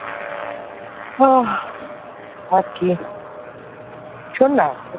হাঁ আর কেন শোননা?